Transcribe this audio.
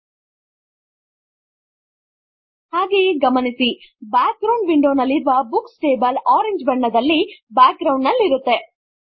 ಅರೇಜ್ controls ಹಾಗೆಯೇ ಗಮನಿಸಿ background window ನಲ್ಲಿ ಬುಕ್ಸ್ ಟೇಬಲ್ ಓರೆಂಜೆ ಬಣ್ಣದ ಬ್ಯಾಕ್ ಗ್ರೌಂಡ್ ನಲ್ಲಿರುತ್ತದೆ